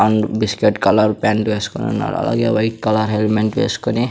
and biscuit colour pant వేస్కొని ఉన్నారు అలాగే వైట్ కలర్ హెల్మెంట్ వేస్కొని--